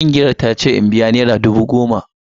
Kungiyar ta ce in biya naira dubu goma.